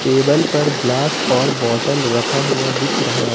Table पर glass और bottle रखा हुआ दिख रहा।